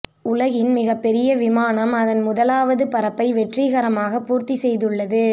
உலகின் மிகப்பெரிய விமானம் அதன் முதலாவது பறப்பை வெற்றிகரமாக பூர்த்தி செய்துள்ளது